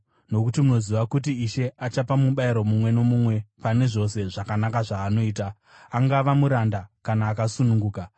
nokuti munoziva kuti Ishe achapa mubayiro mumwe nomumwe pane zvose zvakanaka zvaanoita, angava muranda kana akasununguka.